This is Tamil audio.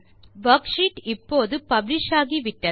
வர்க்ஷீட் இப்போது பப்ளிஷ் ஆகிவிட்டது